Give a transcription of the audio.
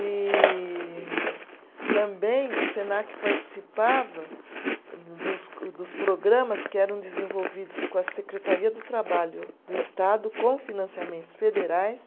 E também o Senac participava dos dos programas que eram desenvolvidos com a Secretaria do Trabalho do Estado, com financiamentos federais.